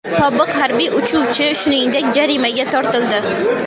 Sobiq harbiy uchuvchi, shuningdek, jarimaga tortildi.